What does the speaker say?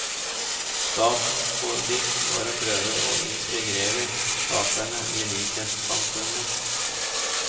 Statens politikk var å prøve å integrere taterne i likhetssamfunnet.